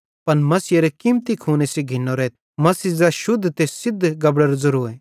पन मसीहेरे कीमती खूने सेइं घिन्नोरेथ मसीह ज़ै शुद्ध ते सिद्ध गबड़ेरो ज़ेरोए